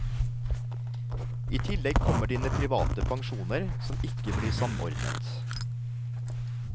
I tillegg kommer dine private pensjoner som ikke blir samordnet.